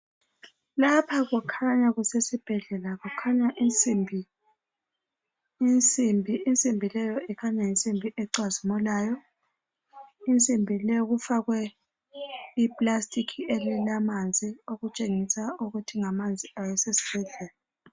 Lapha kukhanya kuse sibhedlela. Kukhanya insimbi. Insimbi insimbi leyo ikhanya yinsimbi ecazimulayo. Insimbi leyo kufakwe I plastic elilamanzi okutshengisa ukuthi ngamanzi awasesibhedlela.